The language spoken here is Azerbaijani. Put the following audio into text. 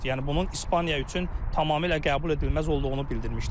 Yəni bunun İspaniya üçün tamamilə qəbul edilməz olduğunu bildirmişdi.